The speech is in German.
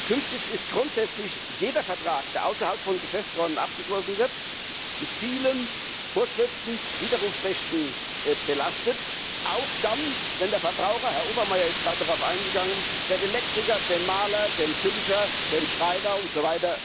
Künftig ist grundsätzlich jeder Vertrag, der außerhalb von Geschäftsräumen abgeschlossen wird, mit vielen Vorschriften und Widerrufsrechten belastet, auch dann, wenn der Verbraucher Herr Obermayr ist gerade darauf eingegangen den Elektriker, den Maler, den Tüncher, den Schreiner usw.